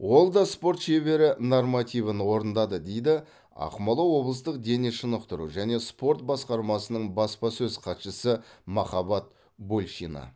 ол да спорт шебері нормативін орындады дейді ақмола облыстық дене шынықтыру және спорт басқармасының баспасөз хатшысы махаббат большина